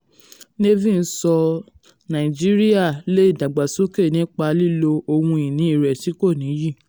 nevin sọ nàìjíríà lè dàgbàsókè nípa lílò ohun ìní rẹ̀ tí kò nìyí.